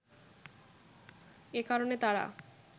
এ কারণে তারা